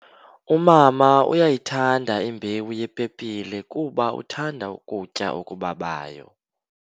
Umama uyayithanda imbewu yepepile kuba uthanda ukutya okubabayo.